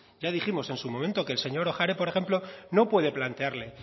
ya dijimos en su momento que el señor ohare por ejemplo no puede plantearle